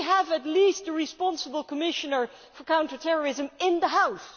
Do we have at least the responsible Commissioner for counter terrorism in the House?